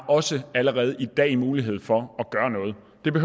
også allerede i dag har mulighed for